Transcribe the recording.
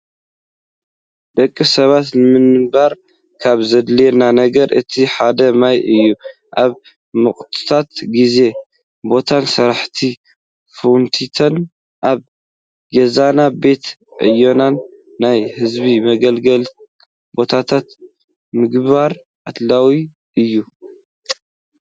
ደቂ ሰባት ንምንባር ካብ ዘድልዮም ነገር እቲ ሓደ ማይ እዩ። ኣብ ሙቀታማ ግዜን ቦታን ስራሕቲ ፋውንቴን ኣብ ግዛና፣ ቤት ዕዮናን፣ ናይ ህዝቢ መገልገሊ ቦታታት ምግባር ኣድላይ እዩ።